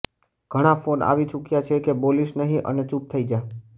ઘણા ફોન આવી ચૂક્યા છે કે બોલીશ નહી અને ચૂપ થઇ જા